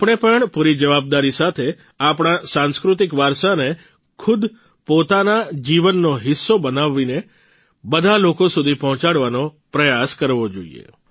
આપણે પણ પૂરી જવાબદારી સાથે આપણા સાંસ્કૃતિક વારસાને ખુદ પોતાના જીવનનો હિસ્સો બનાવીને બધા લોકો સુધી પહોંચાડવાનો પ્રયાસ કરવો જોઇએ